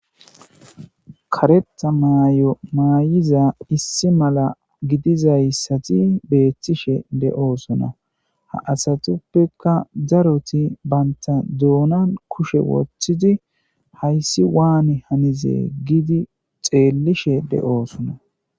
karetha maay7o maayiza issi mala gidizayssati beethtishe de7oosona ha asatuppeka daroti baynta duunan kushe woththidi hayssi waane hanize giidi xeellishe de7oosona